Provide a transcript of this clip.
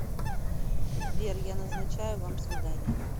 сбер я назначаю вам свидание